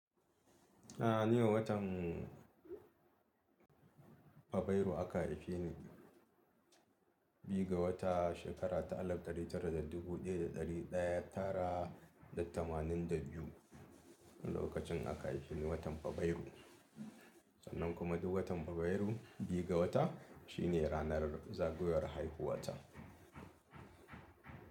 A'a, ne watan Faberu aka haife ni. Biyu ga wata shekara ta alif ɗari tara da dubu ɗaya da ɗari ɗaya tara da tamanin da biyu, lokacin aka haife ni watan Faberu. Sannan kuma duk watan Faberu, biga wata shine ranar zagayowar haihuwa ta.